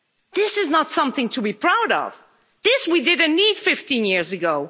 This is not something to be proud of this we didn't need 15 years ago.